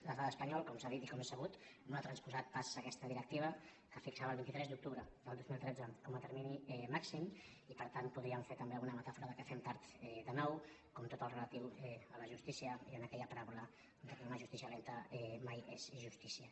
l’estat espanyol com s’ha dit i com és sabut no ha transposat pas aquesta directiva que fixava el vint tres d’oc·tubre del dos mil tretze com a termini màxim i per tant po·dríem fer també alguna metàfora que fem tard de nou com tot el relatiu a la justícia i amb aquella paràbola que una justícia lenta mai és justícia